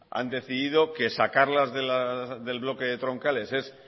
han decidido que sacarlas del bloque de troncales es